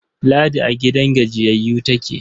Ladi a gidan gajiyayyu take.